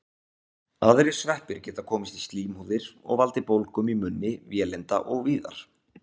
Aðrir sveppir geta komist í slímhúðir og valdið bólgum í munni, vélinda og víðar.